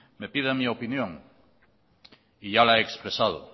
me piden mi opinión y ya la he expresado